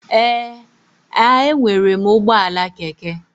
Ee, a enwere m ụgbọala keke.